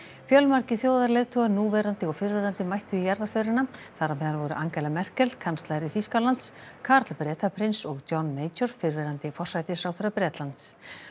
fjölmargir þjóðarleiðtogar núverandi og fyrrverandi mættu í jarðarförina þar á meðal voru Angela Merkel kanslari Þýskalands Karl Bretaprins og John major fyrrverandi forsætisráðherra Bretlands